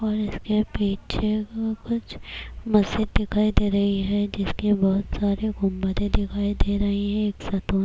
اور اس کے پیچھے کچھ مسجد دکھائی دے رہی ہے جس کے بہت سارے گنبدیں دکھائی دے رہی ہیں